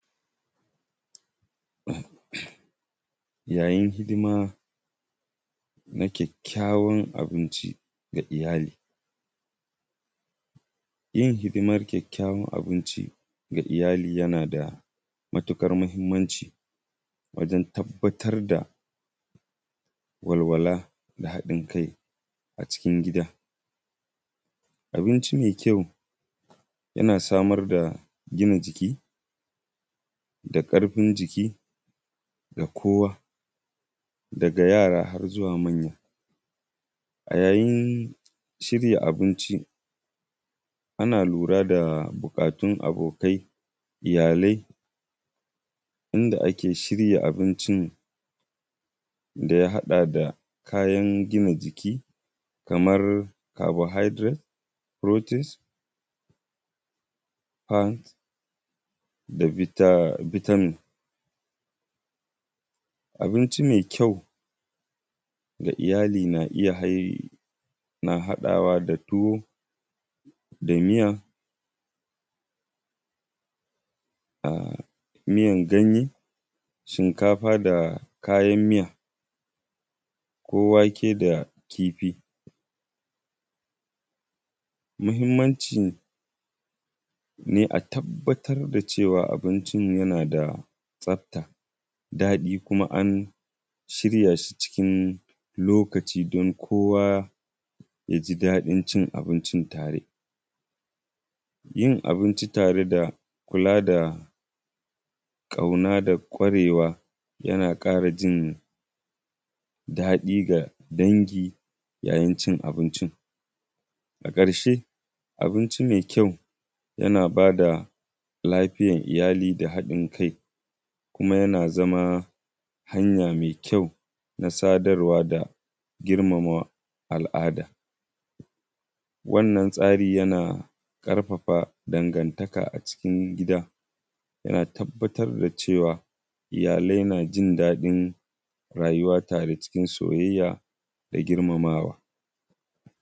Yayin hidima na ƙyaƙƙyawar abinci ga iyali, yin hidimar ƙyaƙƙyawar abinci ga Iyali yana da muhimmanci wajen tabbatar da walwala da haɗin kai a cikin gida. Abincin mai ƙyau yana samar da gida jiki da karfin jiki ga kowa dga yara har zuwa manya. A yayin shirya abinci ana lura da bukatun abokai iyalai wanda ake shirya abincin da ya haɗa da Kayan gina jiki kamar carbohydrate, protains, fat da vitamins. Abincin mai ƙyau fga iyali na iya haɗawa da tuwo da miya, miyar ganye, shinkafa da kayan miya ko wake da kifi. Muhimmancin ne a tabbatar da cewa mutum yana da tsafta daɗi an shirya shi cikin lokaci don kowa ya ji daɗin ci abinci tare. Yin abinci tare da kula da kauna da ƙwarewa yana ƙara ji daɗi ga dangi yayin cin abincin. Daga ƙarshe abinci mai ƙyau yana ba da l afiyar iyali da hadin kai, kuma yana zama hanya mai ƙyau na sadarwa da girmama alada. Wannan tsari yana ƙarfafa danganta a cikin gida don fitar da cewa iyalai na daɗin rayuwa tare cikin soyayya da girmamawa.